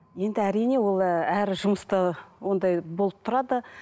енді әрине ол ы әр жұмыста ондай болып тұрады